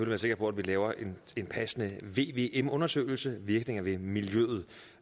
være sikker på at vi laver en passende vvm undersøgelse virkninger ved miljøet